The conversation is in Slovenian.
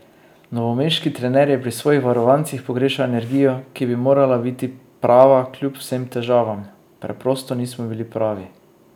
Novomeški trener je pri svojih varovancih pogrešal energijo, ki bi morala biti prava kljub vsem težavam: "Preprosto nismo bili pravi.